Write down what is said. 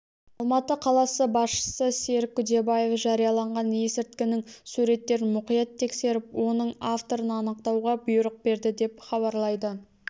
алматы қаласы басшысы серік күдебаев жарияланған есірткінің суреттерін мұқият тексеріп оның авторын анықтауға бұйрық берді деп хабарлайды